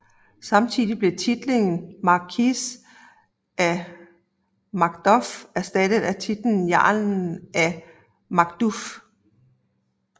Samtidigt blev titlen Markis af Macduff erstattet af titlen Jarl af Macduff